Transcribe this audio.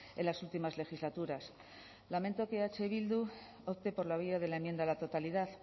en las últimas legislaturas lamento que eh bildu opte por la vía de la enmienda a la totalidad